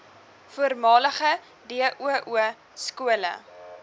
voormalige doo skole